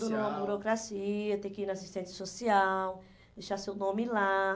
uma burocracia, tem que ir na assistente social, deixar seu nome lá.